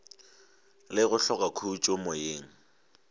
le go hloka khutšo moyeng